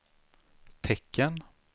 tecken